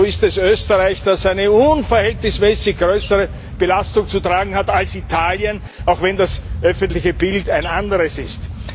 So ist es Österreich, das eine unverhältnismäßig größere Belastung zu tragen hat als Italien, auch wenn das öffentliche Bild ein anderes ist.